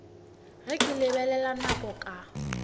ge ke lebelela nako ka